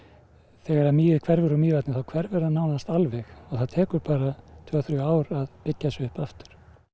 þegar mýið hverfur úr Mývatni þá hverfur það alveg og það tekur bara tvö þrjú ár að byggja sig upp aftur